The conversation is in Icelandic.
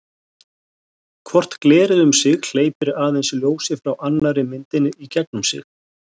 Hvort glerið um sig hleypir aðeins ljósi frá annarri myndinni í gegnum sig.